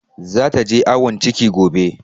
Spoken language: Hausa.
Zata je awon ciki gobe.